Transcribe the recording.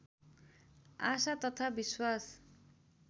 आशा तथा विश्वास